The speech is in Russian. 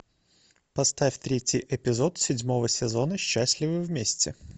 поставь третий эпизод седьмого сезона счастливы вместе